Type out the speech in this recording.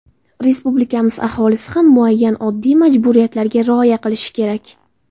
Respublikamiz aholisi ham muayyan oddiy majburiyatlarga rioya qilishi kerak.